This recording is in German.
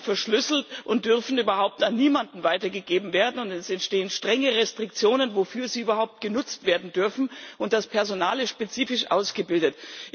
Sie sind verschlüsselt und dürfen überhaupt an niemanden weitergegeben werden, und es bestehen strenge Restriktionen, wofür sie überhaupt genutzt werden dürfen, und das Personal ist spezifisch ausgebildet.